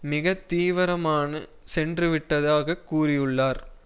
மிக தீவிரமான சென்று விட்டதாக கூறியுள்ளார்